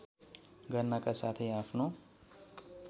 गर्नाका साथै आफ्नो